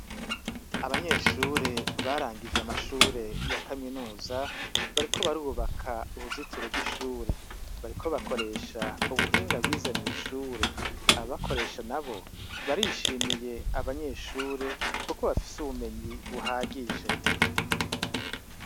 Abanyeshure barangije amashure ya kaminuza bariko barubaka uruzitiro rw'ishure. Bariko bakoresha ubuhinga bize mw'ishure. ababakoresha nabo barishimiye abanyeshure kuko bafise ubumenyi buhagije.